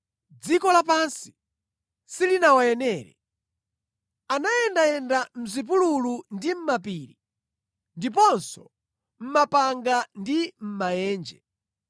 Dziko lapansi silinawayenere. Anayendayenda mʼzipululu ndi mapiri, ndiponso mʼmapanga ndi mʼmaenje.